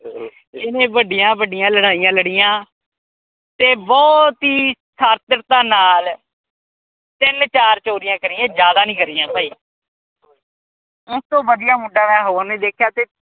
ਇਹਨੇ ਵੱਡੀਆਂ ਵੱਡੀਆਂ ਲੜਾਈਆ ਲੜੀਆਂ ਤੇ ਬਹੁਤ ਈ ਨਾਲ ਤਿੰਨ-ਚਾਰ ਚੋਰੀਆਂ ਕਰੀਆਂ ਜ਼ਿਆਦਾ ਨੀ ਕਰੀਆਂ ਭਾਈ ਇਸਤੋਂ ਵਧੀਆ ਮੁੰਡਾ ਮੈਂ ਕੋਈ ਹੋਰ ਨੀ ਵੇਖਿਆ